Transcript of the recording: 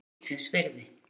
Gullsins virði.